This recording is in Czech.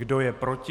Kdo je proti?